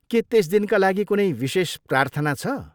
के त्यस दिनका लागि कुनै विशेष प्रार्थना छ?